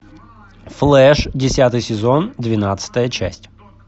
флэш десятый сезон двенадцатая часть